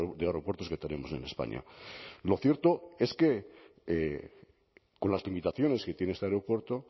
de aeropuertos que tenemos en españa lo cierto es que con las limitaciones que tiene este aeropuerto